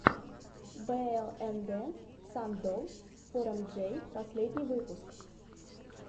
блнд сан долл фор эм джей последний выпуск